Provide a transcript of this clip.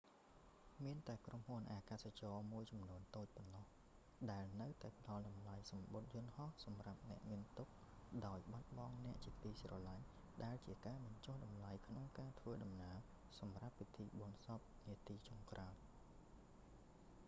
មានតែក្រុមហ៊ុនអាកាសចរណ៍មួយចំនួនតូចប៉ុណ្ណោះដែលនៅតែផ្តល់តម្លៃសំបុត្រយន្តហោះសម្រាប់អ្នកមានទុក្ខដោយបាត់បង់អ្នកជាទីស្រឡាញ់ ដែលជាការបញ្ចុះតម្លៃក្នុងការធ្វើដំណើរសម្រាប់ពិធីបុណ្យសពនាទីចុងក្រោយ